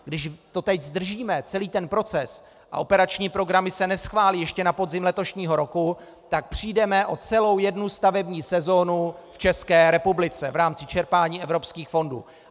Když to teď zdržíme, celý ten proces, a operační programy se neschválí ještě na podzim letošního roku, tak přijdeme o celou jednu stavební sezonu v České republice v rámci čerpání evropských fondů.